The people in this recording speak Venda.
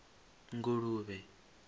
nguluvhe